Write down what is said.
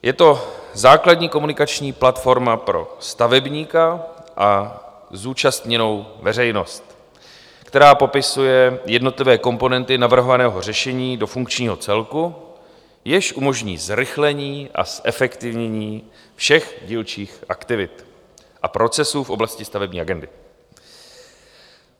Je to základní komunikační platforma pro stavebníka a zúčastněnou veřejnost, která popisuje jednotlivé komponenty navrhovaného řešení do funkčního celku, jenž umožní zrychlení a zefektivnění všech dílčích aktivit a procesů v oblasti stavební agendy.